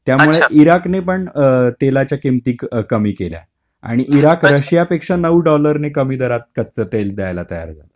त्यामुळे ईराकनी पण तेलाच्या किमती कमी केल्या आणि इराक रशिया पेक्षा नऊ डॉलरनी कमी दरात कच्चं तेल द्यायला तयार झालं.